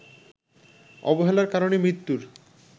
অবহেলার কারণে মৃত্যুর